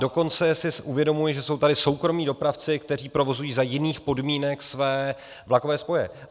Dokonce si uvědomuji, že jsou tady soukromí dopravci, kteří provozují za jiných podmínek své vlakové spoje.